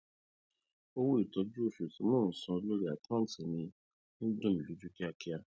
owó ìtọju oṣù tí mo ń san lórí àkántì mi ń dùn mí lójú kíákíá